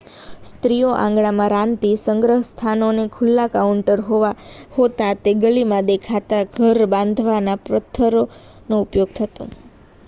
સ્ત્રીઓ આંગણામાં રાંધતી સંગ્રહસ્થાનો ખુલ્લાં કાઉન્ટરો હોતાં જે ગલીમાંથી દેખાતાં ઘર બાંધવામાં પથ્થરનો ઉપયોગ થતો